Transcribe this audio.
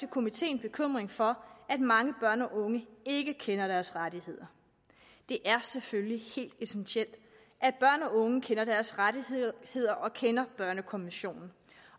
komiteen bekymring for at mange børn og unge ikke kender deres rettigheder det er selvfølgelig helt essentielt at børn og unge kender deres rettigheder og kender børnekonventionen